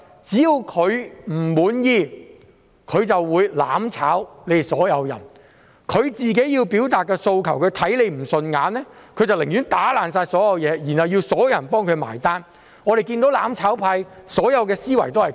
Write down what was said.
只要他們不滿意，他們便"攬炒"所有人，要表達訴求，視他人不順眼，寧願打破所有東西，然後要所有人替他買單——我們看到"攬炒派"的所有思維都是這樣。